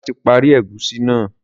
Demola tí parí egusi náa